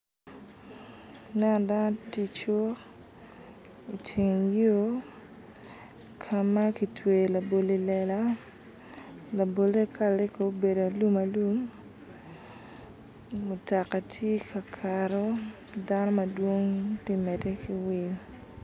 Aneno dano tye i cuk iteng yo ka ma kitweyo labolo i lela labole kalane ko obedo alum alum mutoka tye ka kato dano madwong ti mede ki wil